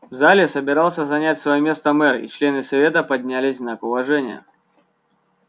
в зале собирался занять своё место мэр и члены совета поднялись в знак уважения